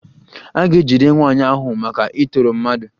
A ga-ejide nwaanyị ahụ maka ịtọrọ mmadụ